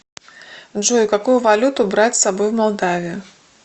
джой какую валюту брать с собой в молдавию